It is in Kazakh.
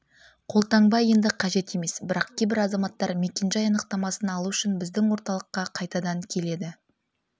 қолтаңба енді қажет емес бірақ кейбір азаматтар мекенжай анықтамасын алу үшін біздің орталыққа қайтадан келеді